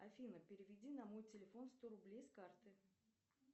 афина переведи на мой телефон сто рублей с карты